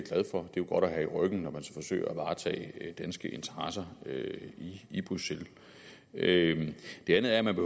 jo godt at have i ryggen når man skal forsøge at varetage danske interesser i bruxelles det andet er at man